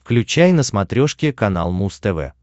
включай на смотрешке канал муз тв